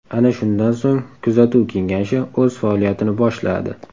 Ana shundan so‘ng Kuzatuv kengashi o‘z faoliyatini boshladi.